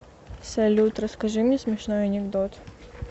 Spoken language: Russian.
салют расскажи мне смешной анекдот